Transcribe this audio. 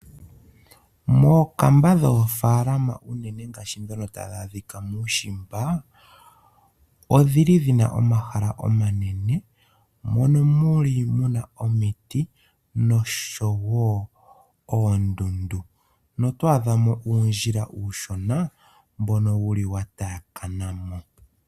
Mookamba dhoofalama unene dhoka tadhi adhika muushimba, odhi li dhina omahala omanene, mono muli muna omiti noshowo oondundu. No to adha mo uudhila uushona mbono wu li wa taakana mo.